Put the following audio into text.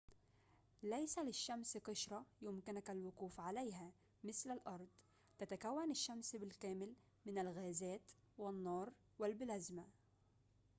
ليس للشمس قشرة يمكنك الوقوف عليها مثل الأرض تتكون الشمس بالكامل من الغازات والنار والبلازما